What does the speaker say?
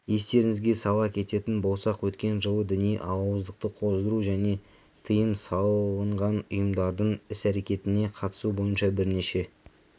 естеріңізге сала кететін болсақ өткен жылы діни алауыздықты қоздыру және тыйым салынғанұйымдардың іс-әрекетіне қатысу бойынша бірнеше